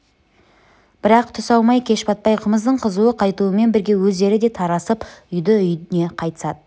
бірақ түс аумай кеш батпай қымыздың қызуы қайтумен бірге өздері де тарасып үйді-үйіне қайтысады